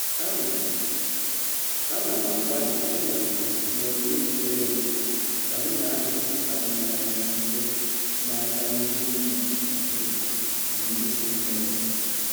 Ana m Ana m agbalị ịnọgide n'obi mepere emepe ka m na-ahazi atụmanya site n'aka ndị ndu Naịjirịa na ndị si mba ọzọ.